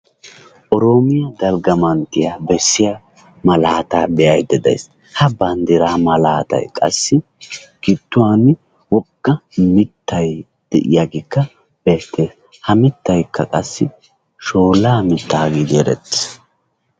Oroomiyaa dalgga manttiyaa bessiyaa malaataa be'ayidda adayis ha banddiraa malaatayi qassi gidduwan wogga mittay de'iyaageekka beettees. Ha mittayikka qassi shoollaa mitta giidi erettees.